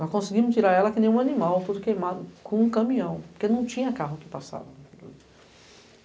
Nós conseguimos tirar ela que nem um animal, todo queimado, com um caminhão, porque não tinha carro que passava.